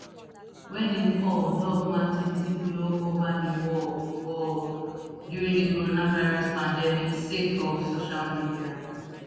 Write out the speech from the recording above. wey im call love nwantiti blow ova di world world during di coronavirus pandemic sake of social media